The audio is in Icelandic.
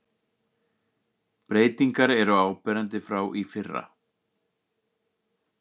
Breytingar eru áberandi frá í fyrra